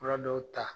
Fura dɔw ta